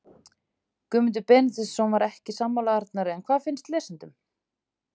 Guðmundur Benediktsson var ekki sammála Arnari en hvað finnst lesendum?